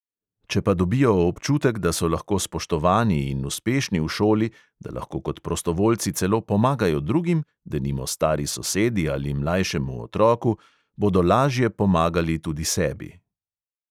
Če pa dobijo občutek, da so lahko spoštovani in uspešni v šoli, da lahko kot prostovoljci celo pomagajo drugim, denimo stari sosedi ali mlajšemu otroku, bodo lažje pomagali tudi sebi.